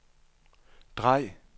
drej